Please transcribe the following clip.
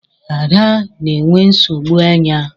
Ada na-enwe nsogbu anya.